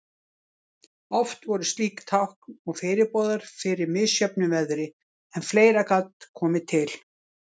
Oft voru slík tákn og fyrirboðar fyrir misjöfnu veðri, en fleira gat komið til.